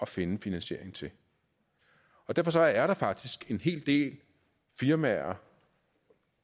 finde finansiering til derfor er der faktisk en hel del firmaer